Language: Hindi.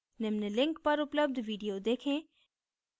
निम्न link पर उपलब्ध video देखें